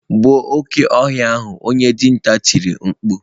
Gbuo oke ohia ahu onye dinta tiri mkpu.